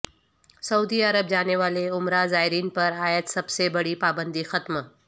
سعودی عرب جانے والے عمرہ زائرین پر عائد سب سے بڑی پابندی ختم